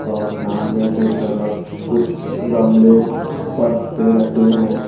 और सामने की तरफ कुछ गमले फर्श पे रखे हैं।